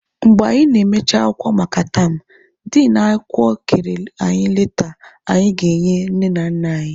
Mgbe anyị na-emechi akwụkwọ maka yam, din akwụkwọ kere anyi leta anyị ga-enye nne na nna anyị.